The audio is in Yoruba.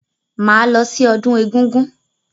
Máa lọ sí ọdún egúngún.